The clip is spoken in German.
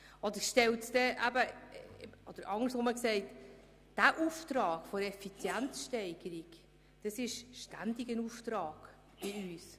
Bei der Effizienzsteigerung handelt es sich weiter um einen ständigen Auftrag für uns.